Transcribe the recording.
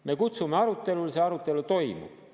Me kutsume arutelule, see arutelu toimub.